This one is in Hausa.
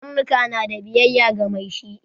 Karnuka na da biyayya ga mai shi